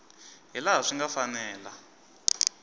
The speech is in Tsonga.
hi laha swi nga fanela